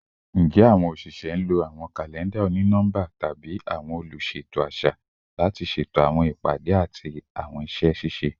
Njẹ awọn oṣiṣẹ nlo awọn kalẹnda oni-nọmba tabi awọn oluṣeto aṣa lati ṣeto awọn ipade ati awọn iṣẹ ṣiṣe?